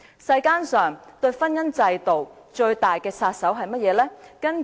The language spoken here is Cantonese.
世間上婚姻制度最大的殺手是甚麼呢？